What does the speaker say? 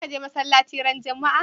Za ka je masalaci ran Juma'a?